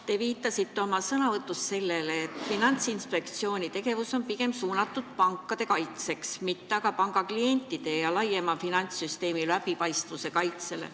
Te viitasite oma sõnavõtus sellele, et Finantsinspektsiooni tegevus on pigem suunatud pankade, mitte aga pangaklientide ja laiemalt finantssüsteemi läbipaistvuse kaitsele.